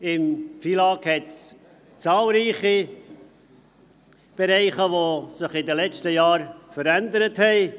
Im Gesetz vom 27. November 2000 über den Finanz- und Lastenausgleich (FILAG) gibt es zahlreiche Bereiche, die sich in den letzten Jahren verändert haben.